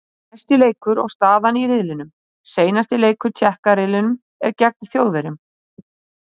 Næsti leikur og staðan í riðlinum: Seinasti leikur Tékka riðlinum er gegn Þjóðverjum.